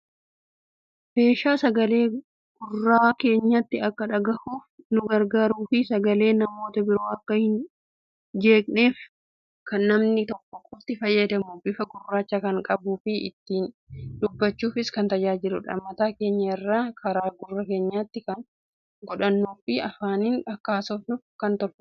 Meeshaa sagaleen gurra keenyatti akka dhagahuuf ni gargaaruu fii sagaleen namoota biroo akka hin jeeqnef namni tokko qofti fayyadamuudha. Bifa gurraacha kan qabuufii ittiin dubbachuufis kan tajaajiluudha. Mataa keenya irraan kara gurra keenyatti kan godhannuufii afaanin akka haasofnuuf kan tolfameedha.